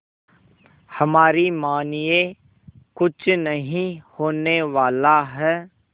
हमारी मानिए कुछ नहीं होने वाला है